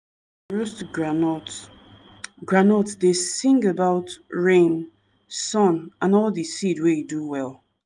cloth cloth wey come from all the farmer na en dem masquerade wear to show sey dem dey together.